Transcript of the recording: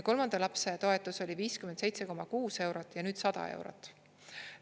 Kolmanda lapse toetus oli 57,6 eurot ja nüüd 100 eurot.